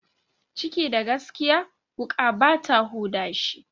Ciki da gaskiya, wuƙa bata huda shi.